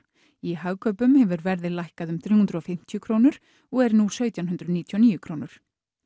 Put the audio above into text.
í Hagkaupum hefur verðið lækkað um þrjú hundruð og fimmtíu krónur og er nú á sautján hundruð níutíu og níu krónur